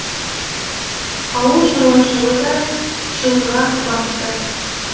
ауыл шаруашылығы да шығынға батты